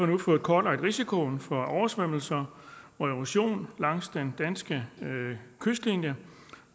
nu fået kortlagt risikoen for oversvømmelser og erosion langs den danske kystlinje